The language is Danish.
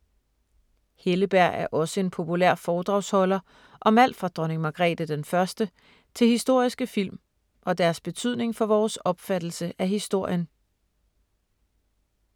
Helleberg er også en populær foredragsholder om alt fra Dronning Margrete den 1. til historiske film, og deres betydning for vores opfattelse af historien.